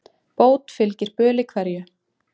Bót fylgir böli hverju.